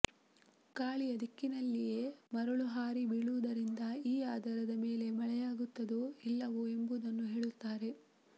ಗಾಳಿಯ ದಿಕ್ಕಿನಲ್ಲಿಯೇ ಮರಳು ಹಾರಿ ಬೀಳುವುದರಿಂದ ಈ ಆಧಾರದ ಮೇಲೆ ಮಳೆಯಾಗುತ್ತದೊ ಇಲ್ಲವೋ ಎಂಬುದನ್ನು ಹೇಳುತ್ತಾರೆ